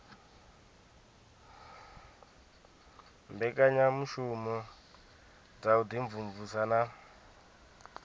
mbekanyamushumo dza u imvumvusa na